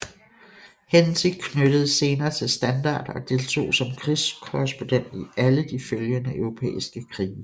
Henty knyttedes senere til Standard og deltog som krigskorrespondent i alle de følgende europæiske krige